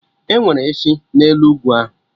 Enwere efi n'elu ugwu ahụ